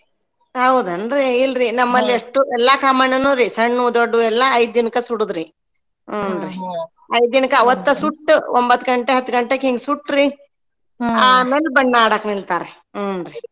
ಹೌದೇನ್ರಿ ಇಲ್ರಿ ನಮ್ಮಲ್ ಅಷ್ಟು ಎಲ್ಲಾ ಕಾಮಣ್ಣನ್ನೂರಿ ಸಣ್ಣವು ದೊಡ್ಡವು ಎಲ್ಲಾ ಐದ್ ದಿನಕ್ಕ ಸುಡೂದ್ರಿ ಹ್ಞೂನ್ರಿ ಐದ್ ದಿನಕ್ಕ ಅವತ್ತ ಸುಟ್ಟ ಒಂಬತ್ ಘಂಟೆ ಹತ್ ಘಂಟೆಗ್ ಹಿಂಗ್ ಸುಟ್ ರೀ ಬಣ್ಣ ಆಡಕ್ ನಿಲ್ತಾರ ಹ್ಞೂನ್ರಿ.